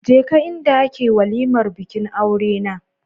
Je ka inda ake walimar bikin aurena.